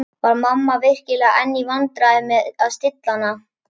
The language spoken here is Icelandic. Var mamma virkilega enn í vandræðum með að stilla hana?